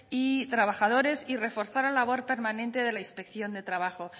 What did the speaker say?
y trabajadores y reforzar la labor permanente de la inspección de trabajo